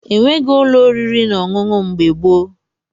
E nweghị ụlọ oriri na ọṅụṅụ mgbe gboo.